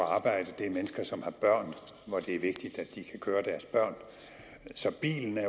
arbejde det er mennesker som har børn og det er vigtigt at de kan køre deres børn så bilen er